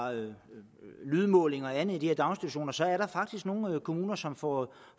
lydmålinger og andet i de her daginstitutioner så er der nogle kommuner som får